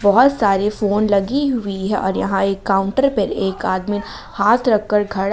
बहुत सारे फोन लगी हुई है और यहां एक काउंटर पे एक आदमी हाथ रख कर खड़ा--